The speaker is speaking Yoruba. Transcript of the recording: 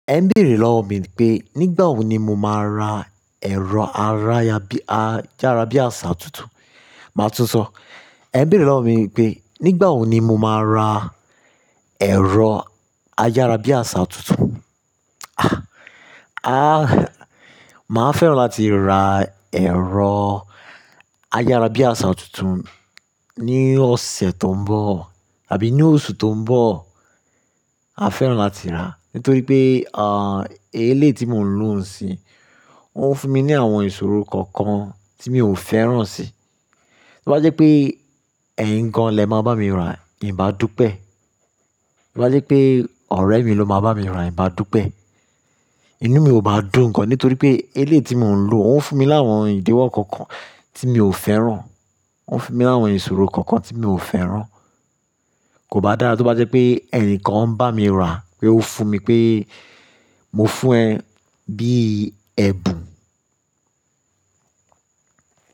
Ẹ n bèrè lọ́wọ mi pé nígbà wo ni mo máa ra ẹ̀rọ ará yabi-- ayárábiàsà tuntun. Màá túnsọ́. Ẹ n bèrè lọ́wọ mi pé nígbà wo ni mo máa ra ẹ̀rọ ayárábiàsà tuntun. Ah, máa fẹ́ràn láti ra ẹ̀rọ ayárábiàsà tuntun ní ọ̀sẹ̀ tó ń bọ̀ àbí ní oṣù tó ń bọ̀. Maa fẹ́ràn láti rà nítorí pé, ah, eléyi tí mò ń lò ń sí, ó ń fún mi ní àwọn ìṣòro kọ̀ọ̀kan tí mi ò fẹ́ràn sí. Tí ó bá jẹ́ pé ẹyin gan lè máa bá mi rà, e n bá dúpẹ́. Tí ó bá jẹ́ pé ọ̀rẹ́ mi ló máa bá mi rà, ì bá dúpẹ́. Inú mi ò bá dùn gan nítorí pé eléyi tí mò ń lò, ó ń fún mi láwọn ìdíwọ́ kọ̀ọ̀kan tí mi ò fẹ́ràn. Ó ń fún mi láwọn ìṣòro kọ̀ọ̀kan tí mi ò fẹ́ràn. Kò bá dára tí ó bá jẹ́ pé ẹnìkan ń bá mi rà pé ó fún mi pé mo fún ẹ bí i ẹbùn.